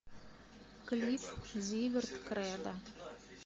клип зиверт кредо